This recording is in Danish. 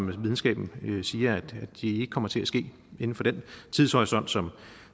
videnskaben siger ikke kommer til at ske inden for den tidshorisont som